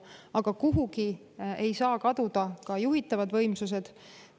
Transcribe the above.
Aga kuhugi ei saa kaduda ka juhitavad võimsused.